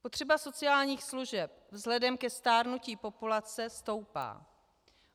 Potřeba sociálních služeb vzhledem ke stárnutí populace stoupá.